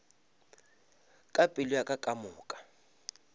ka pelo ya ka kamoka